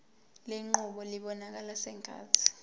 lenqubo ibonakala sengathi